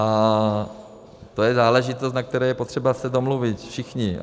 A to je záležitost, na které je potřeba se domluvit všichni.